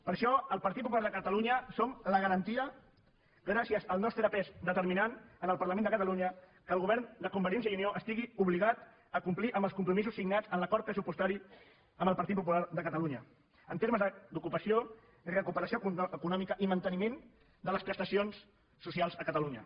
per això el partit popular de catalunya som la garantia gràcies al nostre pes determinant en el parlament de catalunya que el govern de convergència i unió estigui obligat a complir amb els compromisos signats en l’acord pressupostari amb el partit popular de catalunya en termes d’ocupació recuperació econòmica i manteniment de les prestacions socials a catalunya